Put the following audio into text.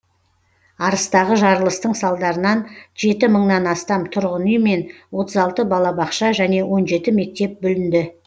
арыстағы жарылыстың салдарынан жеті мыңнан астам тұрғын үй мен отыз алты балабақша және он жеті мектеп бүлінді